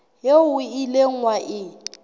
eo o ileng wa e